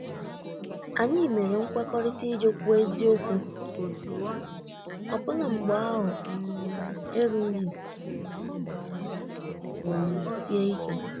Anyi mere nkwekọrịta ije kwuo eziokwu, ọbụla mgbe ahụ um erụghi um anyi ala ma ọ bụ um sie ike